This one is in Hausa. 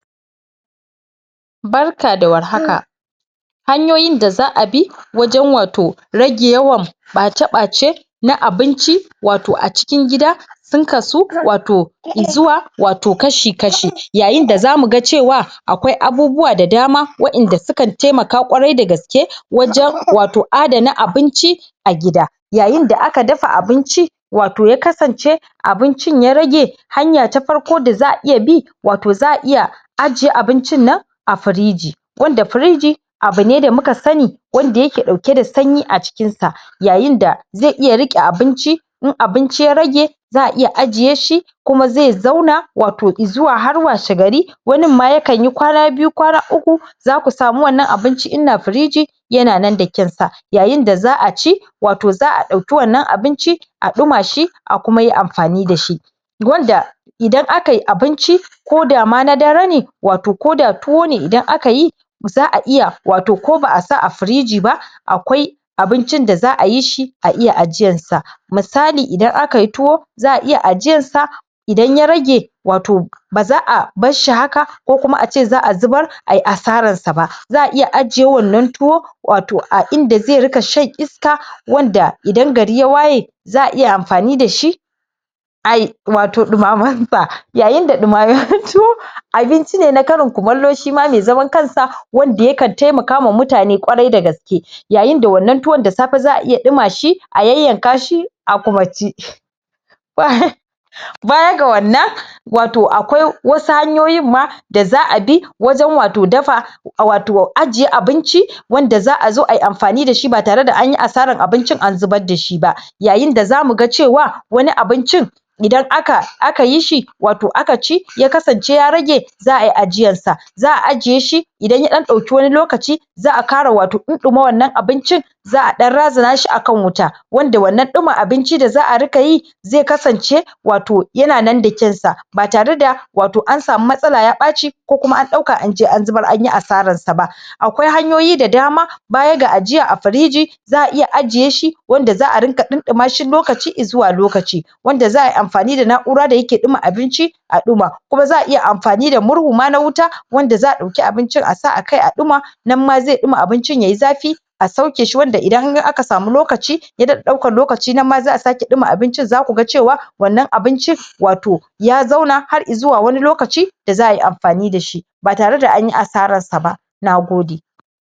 Barka da warhaka, hanyoyin da za a bi wajan wato rage yawan bace bace na abinci wato acikin gida sun kasu wato zuwa wato kashi kashi, yayin da zamu ga cewa akwai abubuwa da dama wadanda suka taimaka kwarai da gaske wajan wato adana abinci a gida. Yayin da aka dafa abinci wato ya kasance abincin ya rage, hanya ta farko da za a iya bi wato za a iya ajiye abincin nan a firiji wanda firiji abu ne da muka sani wanda yake dauke da sanyi a cikin sa Yayin da zai iya rike abinci in abinci ya rage za’a iya ajiye shi kuma zai zauna wato izuwa har washe gari Wanin ma yakan yi kwana biyu, kwana uku zaku samu wannan abincin a firiji yana nan da kyaun sa Yayin da za’a ci wato za a dauki wannan abincin a duma shi a kuma yi amfani da shi Wanda idan akayi abinci ko da ma na dare ne wato ko da tuwo ne idan a ka yi za a iya wato ko ba’a sa a firiji ba akwai abincin da za a yi shi a iya ajiyar sa. Misali idan akayi tuwo za’a iya ajiyar sa idan ya rage wato ba za’a bar shi haka ko kuma a ce za a zubar a yi asarar sa ba. Za a iya ajiye wannan tuwo wato a inda zai rika shan iska wanda idan gari ya waye za a iya amfani da shi ayi wato dumamar sa yayin da dumaman tuwo abinci ne na karin kumallo shima mai zaman kansa, wanda yakan taimaka wa mutane kwarai da gaske Yayin da wannan tuwon da safe za a iya duma shi a yan yanka shi a kuma ci war Baya ga wannan wato akwai wasu hanyoyin ma da za a bi wajan wato dafa wato ajiye abinci wanda za a zo ayi amfani da shi ba tare da anyi asarar abincin an zubar da shi ba. Yayin da zamu ga cewa wani abincin idan akayi shi wato a ka ci, ya kasance ya rage, za’a yi ajiyar sa. Za’a ajiye shi idan ya dan dauki wani lokaci za a kara wato dun duma wannan abincin za a dan razana shi a kan wuta wanda wannan duma abinci da za a riƙa yi zai kasance wato yana nan da kyaun sa, ba tare da wato an samu matsala ya baci ko kuma an ɗauka an je an zubar anyi asarar sa ba Akwai hanyoyi da dama baya ga ajiya a firiji za a iya ajiye shi wanda za a rika dunduma shi lokaci izuwa lokaci wanda za a yi amfani da nakura da yake duma abinci a duma kuma za a iya amfani da murhu ma na wuta wanda za a ɗauki abincin a sa a kai a duma, nan ma zai duma abincin yayi zafi a sauke shi wanda idan ka ga aka samu lokaci ya dada ɗaukan lokaci nan ma za a sake duma abincin za ku ga cewa wannan abincin wato ya zauna har izuwa wani lokaci da za a amfani da shi ba tare da anyi asarar sa ba, nagode